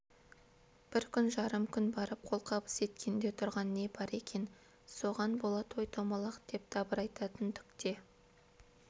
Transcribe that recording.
бір күн жарым күн барып қолқабыс еткенде тұрған не бар екен соған бола той-томалақ деп дабырайтатын түк те